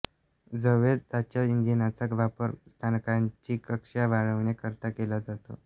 झ्वेज्दाच्या इंजिनचा वापर स्थानकाची कक्षा वाढवण्याकरता केला जातो